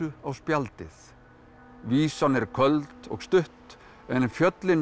á spjaldið vísan er köld og stutt en fjöllin